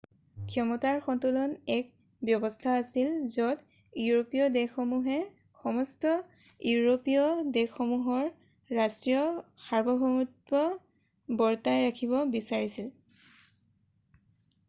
ক্ষমতাৰ সন্তুলন এক ব্যৱস্থা আছিল য'ত ইউৰোপীয় দেশসমূহে সমস্ত ইউৰোপীয় দেশসমূহৰ ৰাষ্ট্ৰীয় সাৰ্বভৌমত্ব বৰ্তাই ৰাখিব বিচাৰিছিল